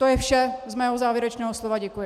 To je vše z mého závěrečného slova, děkuji.